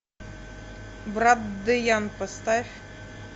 брат деян поставь